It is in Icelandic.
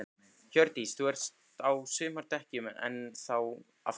Hjördís: Þú ert á sumardekkjunum enn þá, af hverju?